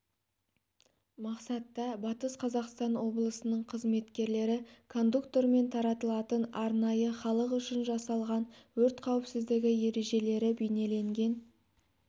мақсатта батыс қазақстан облысының қызметкерлері кондуктормен таратылатын арнайы халық үшін жасалған өрт қауіпсіздігі ережелері бейнеленген